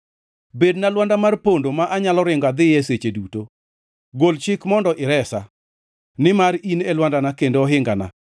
Bedna lwanda mar pondo, ma anyalo ringo adhiye seche duto; gol chik mondo iresa, nimar in e lwandana kendo ohingana.